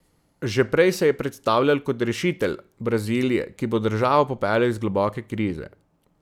Že prej se je predstavljal kot rešitelj Brazilije, ki bo državo popeljal iz globoke krize.